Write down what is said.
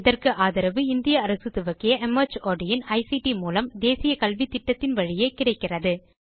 இதற்கு ஆதரவு இந்திய அரசு துவக்கிய மார்ட் இன் ஐசிடி மூலம் தேசிய கல்வித்திட்டத்தின் வழியே கிடைக்கிறது